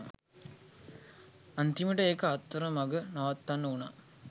අන්තිමට ඒක අතරමග නවත්තන්න උනා